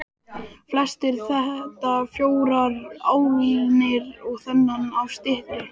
Flestir þetta fjórar álnir og þaðan af styttri.